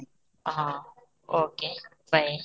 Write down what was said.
ହଁ okay bye